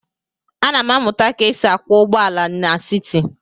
Ana m amụta ka e si akwọ ụgbọala n'siti.